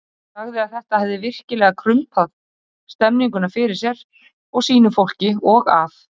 Hún sagði að þetta hefði virkilega krumpað stemmninguna fyrir sér og sínu fólki og að